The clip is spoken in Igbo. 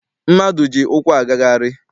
Mmadụ ji ụkwụ agagharị.